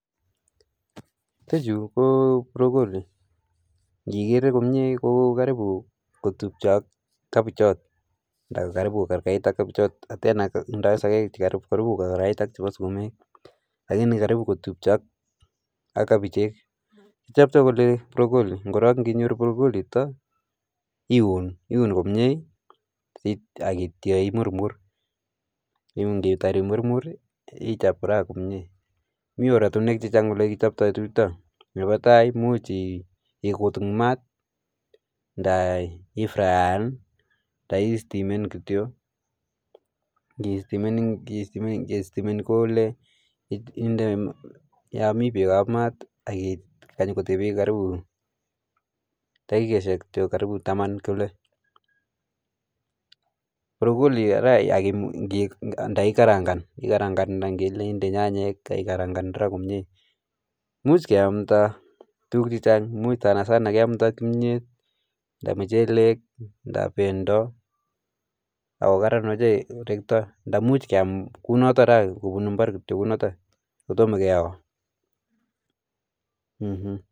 Ichechu ko brokoli, inekere komie ko karibu kotupio ak cabbage, anan karibu kogergeit ak kebichot. Tena kotindoi sogek chekergei ak chebo sukumek. Lakini kotupcho ak kabichek, kichoptoo kole brokoli. Korong indinyooru brokoli initok iun, komie ak yeityoo murmur. Ak inditaar imurmur i,ichob fry komie. Mi oratinwek chechang, cheu elekichopto chutoi. Nebo tai, imuchi ikutuny maat, ndai ifraen anan istimen kityok. Ingistimen, keistimenii pole, inde yon mi beek maat, ak indee beek ak kikany karibu takikosiek kityok karibu Taman kole. Brokoli kondai ikarangaan anan ile under nyanyek ak ikarangan komie. Imuch keamdaa tuguuk chechang, much sanasana keamdaa kimyeet. Anan muchelek, anan bendoo ak Koran ochei, rektoo. Ak imuch kiam kounotok kobunu imbaar kounotok, kotomo keyoo.